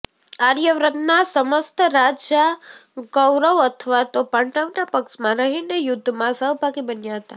આર્યવ્રતના સમસ્ત રાજા કૌરવ અથવા તો પાંડવના પક્ષમાં રહીને યુદ્ધમાં સહભાગી બન્યા હતા